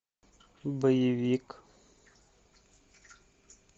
боевик